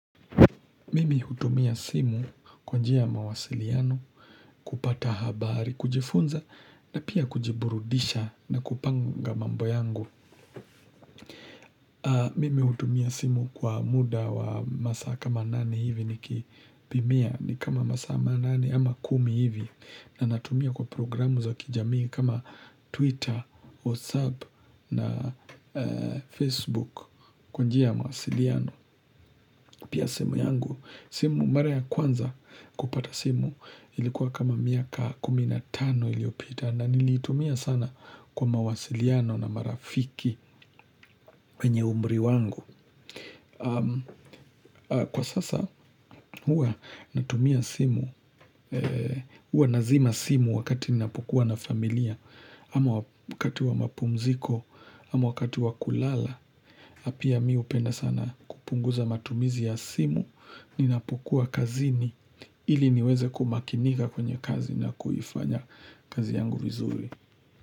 Mimi hutumia simu kwa njia ya mawasiliano, kupata habari, kujifunza na pia kujiburudisha na kupanga mambo yangu. Mimi hutumia simu kwa muda wa masaa kama nane hivi nikipimia ni kama masaa manane ama kumi hivi na natumia kwa programu za kijamii kama Twitter, WhatsApp na Facebook kwa njia ya mawasiliano. Pia simu yangu, simu mara ya kwanza kupata simu ilikuwa kama miaka kumi na tano iliyopita na niliitumia sana kwa mawasiliano na marafiki wenye umri wangu. Kwa sasa huwa natumia simu, huwa nazima simu wakati ninapokuwa na familia ama wakati wa mapumziko, ama wakati wa kulala pia mi hupenda sana kupunguza matumizi ya simu, ninapokuwa kazini ili niweze kumakinika kwenye kazi na kuifanya kazi yangu vizuri.